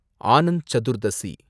Anand Chaturdashi